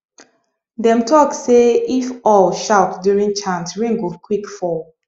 dem talk say if owl shout during chant rain go quick fall